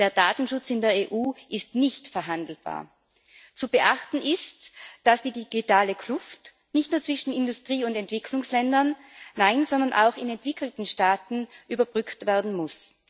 Der Datenschutz in der EU ist nicht verhandelbar. Zu beachten ist, dass die digitale Kluft nicht nur zwischen Industrie und Entwicklungsländern, sondern auch in entwickelten Staaten überbrückt werden muss.